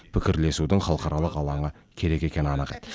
пікірлесудің халықаралық алаңы керек екені анық еді